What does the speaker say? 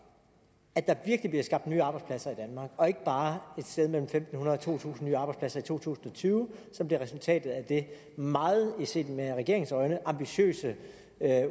at der virkelig bliver skabt nye arbejdspladser i danmark og ikke bare et sted mellem fem hundrede og to tusind nye arbejdspladser i to tusind og tyve som blev resultatet af det meget set med regeringens øjne ambitiøse